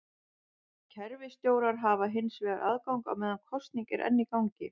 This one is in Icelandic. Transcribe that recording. Kerfisstjórar hafa hins vegar aðgang á meðan kosning er enn í gangi.